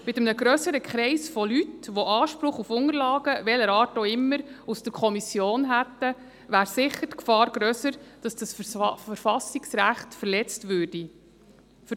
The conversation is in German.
Mit einem grösseren Kreis von Leuten, die Anspruch auf Unterlagen, welcher Art auch immer, aus den Kommissionen hätten, wäre die Gefahr, dass dieses Verfassungsrecht verletzt wird, sicher grösser.